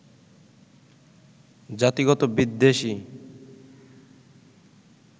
জাতিগত বিদ্বেষই